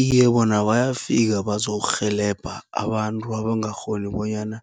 Iye, bona bayafika bazokurhelebha abantu abangakghoni bonyana